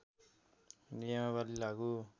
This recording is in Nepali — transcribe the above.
नियमावली लागू